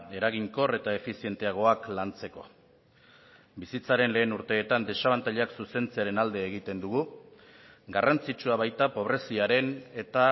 eraginkor eta efizienteagoak lantzeko bizitzaren lehen urteetan desabantailak zuzentzearen alde egiten dugu garrantzitsua baita pobreziaren eta